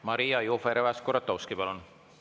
Maria Jufereva‑Skuratovski, palun!